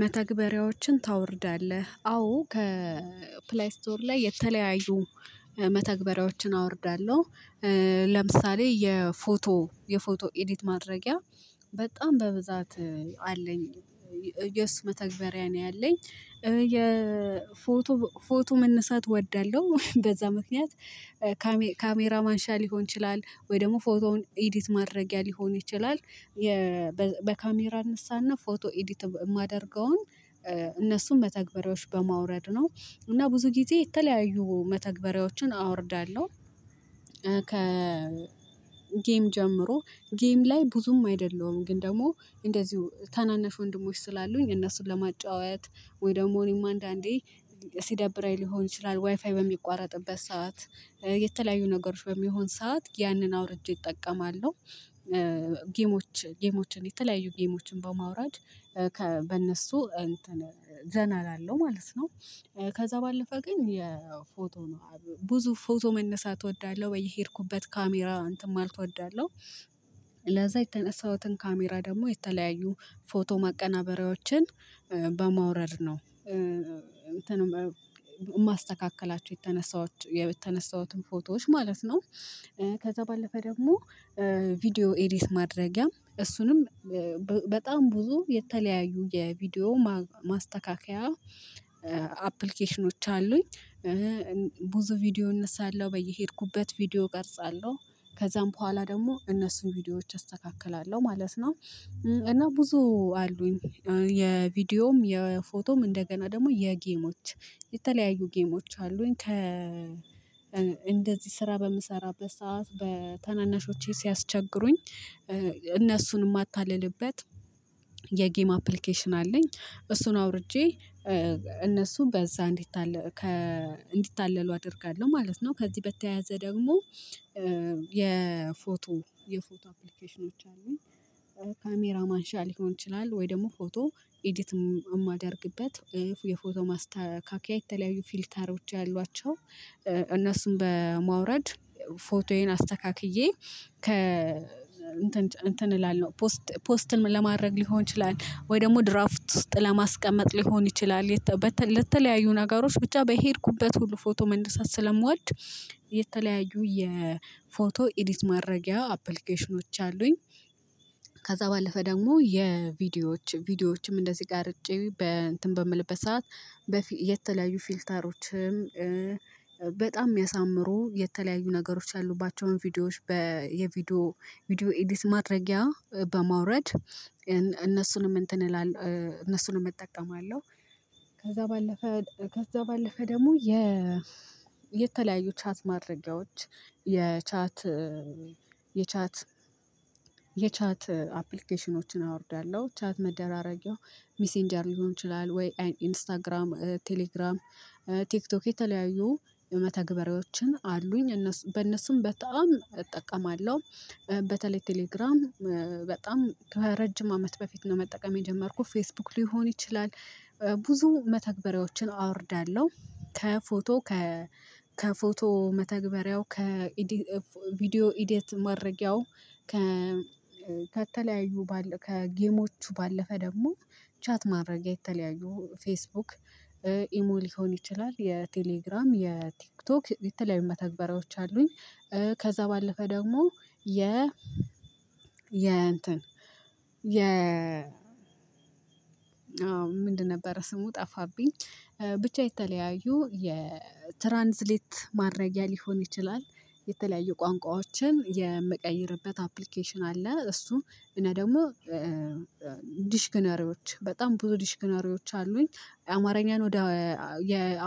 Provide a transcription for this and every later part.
መተግበሪያዎችን ታወርዳለህ? አዎ ከፕላይ ስቶር ላይ የተለያዩ መተግበሪያዎችን አወርዳለሁ ለምሳሌ የፎቶ የፎቶ ኤዲት ማድረጊያ በጣም በብዛት አለኝ። የሱ መተግበሪያ ነው ያለኝ የፎቶ ፎቶ መነሳት እወዳለሁ በዛ ምክንያት ካሜራ ማንሻ ሊሆን ይችላል ወይ ደግሞ ኤዲት ማድረጊያ ሊሆን ይችላል፣ በካሜራ እነሳና ፎቶ ኤዲት የማደርገውን እነሱን መተግበሪያዎች በማውረድ ነው እና ብዙ ጊዜ የተለያዩ መተግበሪያዎችን አወርዳለሁ። ከ ጌም ጀምሮ ጌም ላይ ብዙም አይደለሁም ግን ደግሞ እንደዚሁ ታናናሽ ወንድሞች ስላሉኝ እነሱን ለማጫወት ወይ ደግሞ እኔም አንዳንዴ፣ ሲደብርኝ ሊሆን ይችላል ዋይፋይ በሚቋረጥበት ሰዓት፣ የተለያዩ ነገሮች በሚሆን ሰዓት ያንን አውርጄ እጠቀማለሁ ጌሞች ጌሞችን የተለያዩ ጌሞችን በማውራድ፣ በእነሱ እንትን ዘና እላለሁ ማለት ነው። ከዛ ባለፈ ግን የፎቶ ነው፣ ብዙ ፎቶ መነሳት እወዳለሁ በየሄድኩበት ካሜራ እንትን ማለት እወዳለሁ ለዛ የተነሳሁትን ካሜራ ደግሞ የተለያዩ ፎቶ ማቀናበሪያዎችን በማውረድ ነው እንትን ማስተካከላቸው የተነሳሁት የተነሳሁትን ፎቶዎች ማለት ነው። ከዛ ባለፈ ደግሞ ቪዲዮ ኤዲት ማድረጊያም እሱንም በጣም ብዙ የተለያዩ የቪዲዮ ማስተካከያ አፕሊኬሽኖች አሉኝ ብዙ ቪዲዮ እነሳለሁ በየሄድኩበት ቪዲዮ እቀርጻለሁ ከዛም በኋላ ደግሞ እነሱን ቪዲዮዎች አስተካክላለሁ ማለት ነው። እና ብዙ አሉኝ የቪዲዮም የፎቶም እንደገና ደግሞ የጌሞች የተለያዩ ጌሞች አሉኝ ከ እንደዚህ ስራ በምሰራበት ሰዓት በተናናሾቼ ሲያስቸግሩኝ እነሱን የማታልልበት የጌም አፕሊኬሽን አለኝ እሱን አውርጄ እነሱን በዛ እንዲታለሉ አደርጋለሁ ማለት ነው። ከዚህ በተያያዘ ደግሞ የፎቶ የፎቶ አፕሊኬሽኖች አሉኝ ካሜራ ማንሻ ሊሆን ይችላል ወይ ደግሞ ፎቶ ኤዲት የማደርግበት ወይ የፎቶ ማስተካከያ የተለያዩ ፊልታሮች ያሏቸው እነሱን በማውረድ ፎቶዬን አስተካክዬ ከ እንትን እንትን እላለሁ ፖስት ለማድረግ ሊሆን ይችላል፣ ወይ ደግሞ ድራፍት ውስጥ ለማስቀመጥ ሊሆን ይችላል ለተለያዩ ነገሮች ብቻ በሄድኩበት ሁሉ ፎቶ መነሳት ስለምወድ የተለያዩ የፎቶ ኢዲት ማረጊያ አፕሊኬሽኖች አሉኝ ከዛ ባለፈ ደግሞ የቪዲዮዎች ቪዲዮዎችም እንደዚህ ጋር ርጬ በእንትን በምልበት ሰዓት የተለያዩ ፊልተሮችም በጣም የሚያሳምሩ የተለያዩ ነገሮች ያሉባቸውን ቪዲዮዎች በየቪዲዮ ቪዲዮ ኤዲት ማድረጊያ በማውረድ እነሱንም እንትን እላለሁ፣ እነሱንም እጠቀማለሁ ከዛ ባለፈ ደግሞ የ የተለያዩ ቻት ማድረጊያዎች የቻት የቻት የቻት አፕሊኬሽኖችን አወርዳለሁ ቻት መደራረጊያው ሚሴንጀር ሊሆን ይችላል፣ ወይ ኢንስታግራም፣ ቴሌግራም፣ ቴክቶክ የተለያዩ የመተግበሪያዎችን አሉኝ በእነሱም በጣም እጠቀማለሁ። በተለይ ቴሌግራም በጣም በረጅም አመት በፊት ነው መጠቀም የጀመርኩት ፌስቡክ ሊሆን ይችላል ብዙ መተግበሪያዎችን አወርዳለሁ ከፎቶ ከ ከፎቶ መተግበሪያው ከቪዲዮ ኤዲት ማረጊያው ከተለያዩ ከጌሞቹ ባለፈ ደግሞ ቻት ማድረጊያ የተለያዩ ፌስቡክ ኢሞ ሊሆን ይችላል የቴሌግራም የቲክቶክ የተለያዩ መተግበሪያዎች አሉኝ። ከዛ ባለፈ ደግሞ የ የ የ ምንድነበረ ስሙ ጠፋብኝ ብቻ የተለያዩ የትራንስሌት ማረጊያ ሊሆን ይችላል የተለያዩ ቋንቋዎችን የምቀይርበት አፕሊኬሽን አለ እሱ እና ደግሞ ዲሽክነሪዎች በጣም ብዙ ዲሽክነሪዎች አሉኝ። አማርያን ወደ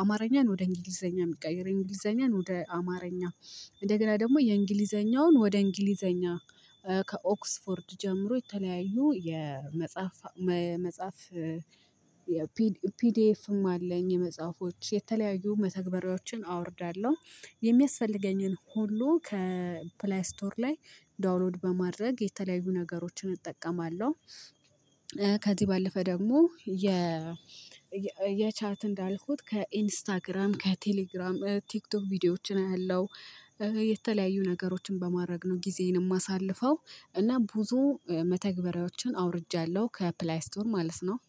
አማርያን ወደ እንግሊዘኛ የሚቀይር እንግሊዘኛን ወደ አማርኛ፣ እንደገና ደግሞ የእንግሊዘኛውን ወደ እንግሊዘኛ፣ ከኦክስፎርድ ጀምሮ የተለያዩ የመጽሐፍ መጽሐፍ ፒዲኤፍም አለኝ የመጽሐፎች የተለያዩ መተግበሪያዎችን አወርዳለሁ የሚያስፈልገኝን ሁሉ ከፕላይ ስቶር ላይ ዳውንሎድ በማድረግ የተለያዩ ነገሮችን እጠቀማለሁ። ከዚህ ባለፈ ደግሞ የ የቻት እንዳልኩት ከኢንስታግራም ከቴሌግራም ቲክቶክ ቪዲዮዎችን አያለሁ የተለያዩ ነገሮችን በማድረግ ነው ጊዜዬን የማሳልፈው እና ብዙ መተግበሪያዎችን አውርጃለሁ ከፕላይ ስቶር ማለት ነው።